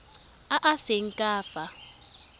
a a seng ka fa